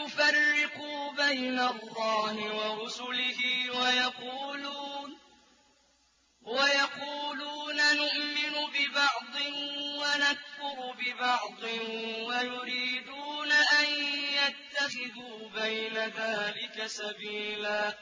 يُفَرِّقُوا بَيْنَ اللَّهِ وَرُسُلِهِ وَيَقُولُونَ نُؤْمِنُ بِبَعْضٍ وَنَكْفُرُ بِبَعْضٍ وَيُرِيدُونَ أَن يَتَّخِذُوا بَيْنَ ذَٰلِكَ سَبِيلًا